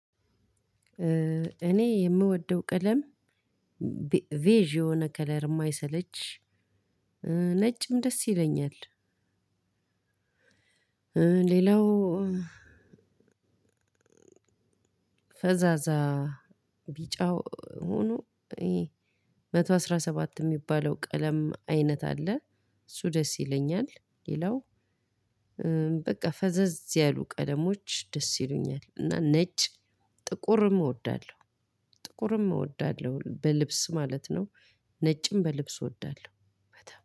እኔ የምወደው ቀለም ቬጅ የሆነ ከለር የማይሰለች ነጭም ደስ ይለኛል። ሌላው ፈዛዛ ቢጫው ሆኖ መቶ አስራ ሰባት የሚባለው ቀለም አይነት አለ። እሱ ደስ ይለኛል ሌላው በቃ ፈዘዝ ያሉ ቀለሞች ደስ ይሉኛል። እና ነጭ ጥቁርም እወዳለሁ ጥቁርም እወዳለሁ በልብስ ማለት ነው። ነጭም በልብስ እወዳለሁ።